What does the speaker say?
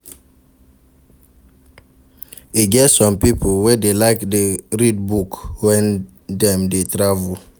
E get some pipo wey dey like read book wen dem dey travel.